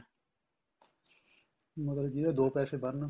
ਮਤਲਬ ਜਿਹਦੇ ਦੋ ਪੈਸੇ ਬਣਨ